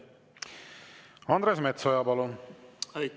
Andres Metsoja, palun!